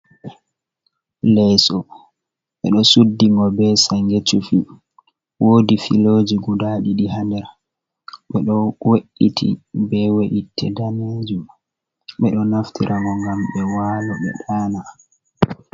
Leeso. Ɓe ɗo suddi ngo be sange cufi, woodi filoji guda ɗiɗi haa nder, ɓe ɗo we’iti be we’itte daneejum, ɓe ɗo naftira ngo ngam ɓe waalo, ɓe ɗana.